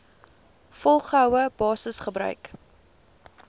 volgehoue basis gebruik